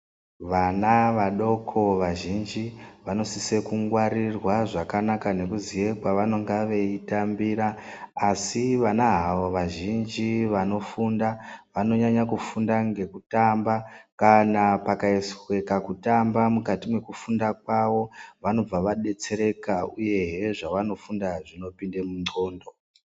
Vana vadoko vazhinji vanosisa kungwarirwa zvakanaka nekuziya kwavanenge veitambira. Asi vana havo vazhinji vanofunda vanonyanya kufunda ngekutamba. Kana pakaiswa kutamba mukati mwekufunda kwavo vanobva vadetsereka uyehe zvavanofunda zvinopinda mundxondo.